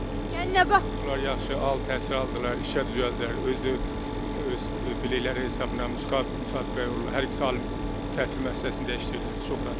Yəni nəvələr yaxşı ali təhsil aldılar, işə düzəldilər, özü öz bilikləri hesabına müsabiqəyə uğradılar, hər ikisi ali təhsil müəssisəsində işləyirlər, çox razıyam.